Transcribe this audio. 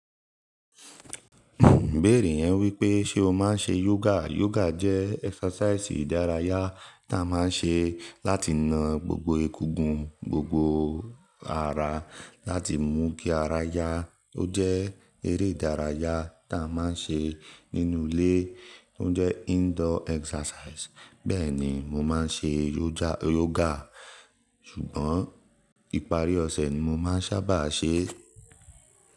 Ibérè yẹn wípé ṣe o máa ń ṣe yoga? Yoga jẹ́ exercise ìdárayá ta máa ń ṣe láti na gbogbo egugun, gbogbo ara láti mú kí ara yá. Ó jẹ́ eré ìdárayá ta máa ń ṣe nínú ilé, ó jẹ́ indoor exercise. Bẹ́ẹ̀ni mo máa ń ṣe yoga, ṣùgbọ́n ìparí ọ̀sẹ̀ ni mo máa ń sábà ṣe ẹ́.